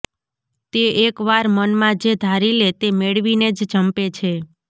તે એક વાર મનમાં જે ધારી લે તે મેળવીને જ જંપે છે